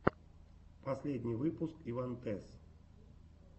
последний выпуск ивантез